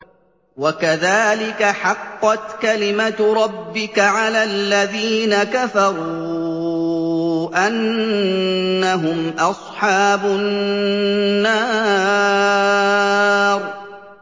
وَكَذَٰلِكَ حَقَّتْ كَلِمَتُ رَبِّكَ عَلَى الَّذِينَ كَفَرُوا أَنَّهُمْ أَصْحَابُ النَّارِ